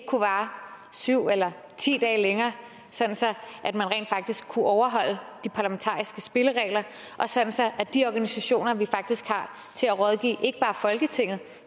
vare syv eller ti dage længere sådan at man rent faktisk kunne overholde de parlamentariske spilleregler og sådan så de organisationer vi faktisk har til at rådgive ikke bare folketinget